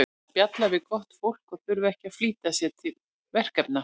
Að spjalla við gott fólk og þurfa ekki að flýta sér til verkefna.